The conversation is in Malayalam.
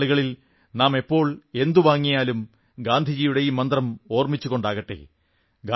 വരും നാളുകളിൽ നാം എപ്പോൾ എന്തു വാങ്ങിയാലും ഗാന്ധിജിയുടെ ഈ മന്ത്രം ഓർമ്മിച്ചുകൊണ്ടാകട്ടെ